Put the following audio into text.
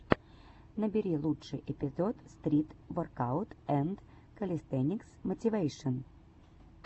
набери лучший эпизод стрит воркаут энд кэлистэникс мотивэйшн